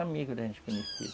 Amigo da gente que nasceu.